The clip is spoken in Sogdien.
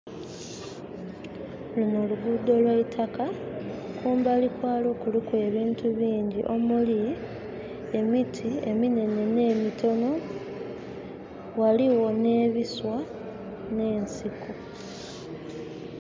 Luno luguudo lwa itaka, kumbali kwalwo kuliku ebintu bingi omuli emiti eminene nemitono, waliwo ne biswa nensiko